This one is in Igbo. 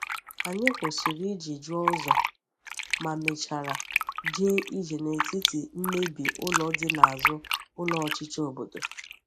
Anyị kwụsịrị iji jụọ ụzọ, ma mechara jee ije n’etiti mmebi ụlọ dị n’azụ ụlọ ọchịchị obodo.